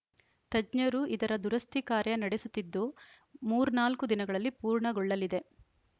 ತಜ್ಞರು ಇದರ ದುರಸ್ಥಿ ಕಾರ್ಯ ನಡೆಸುತ್ತಿದ್ದು ಮೂರ್ನಾಲ್ಕು ದಿನಗಳಲ್ಲಿ ಪೂರ್ಣಗೊಳ್ಳಲಿದೆ